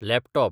laptop